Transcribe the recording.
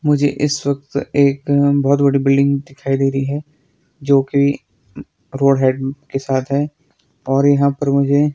मुझे इस वक्त एक बहोत बड़ी बिल्डिंग दिखाई दे रहीं हैं जो की रोड हेड के साथ हैं और यहाँ पर मुझे--